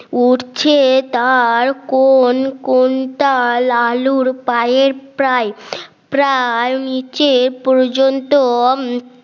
উড়ছে তার কোন কোন তাল আলুর পায়ের প্রায় প্রায় নিচে পর্যন্ত